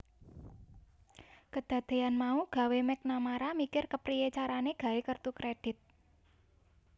Kedadeyan mau gawé McNamara mikir kepriye carane gawé kertu kredit